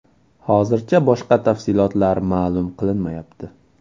Hozircha boshqa tafsilotlar ma’lum qilinmayapti.